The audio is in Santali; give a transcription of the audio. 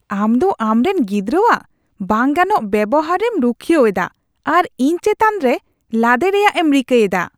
ᱟᱢ ᱫᱚ ᱟᱢᱨᱮᱱ ᱜᱤᱫᱽᱨᱟᱣᱟᱜ ᱵᱟᱝ ᱜᱟᱱᱚᱜ ᱵᱮᱣᱦᱟᱨᱮᱢ ᱨᱩᱠᱷᱤᱭᱟᱹᱣ ᱮᱫᱟ ᱟᱨ ᱤᱧ ᱪᱮᱛᱟᱱ ᱨᱮ ᱞᱟᱫᱮ ᱨᱮᱭᱟᱜ ᱮᱢ ᱨᱤᱠᱟᱹ ᱮᱫᱟ ᱾